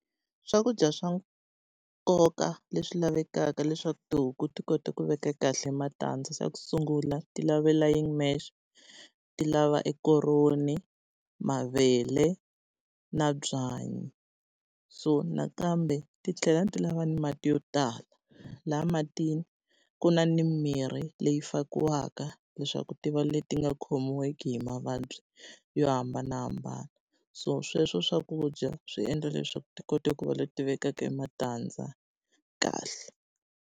Swakudya swa nkoka leswi lavekaka leswaku tihuku ti kota ku veka kahle matandza, xa ku sungula ti lavela , ti lava e koroni, mavele, na byanyi, so nakambe ti tlhela ti lava ni mati yo tala. Laha matini ku na ni mirhi leyi fakiwaka leswaku ti va leti nga khomiweki hi mavabyi yo hambanahambana. So sweswo swakudya swi endla leswaku ti kota ku va leti vekaka e matandza kahle.